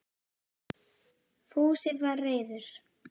Fúsi var reiður.